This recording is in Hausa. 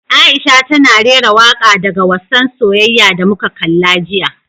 Aisha tana rera waka daga wassan soyayya da muka kalla jiya.